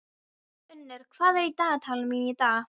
Unnur, hvað er í dagatalinu mínu í dag?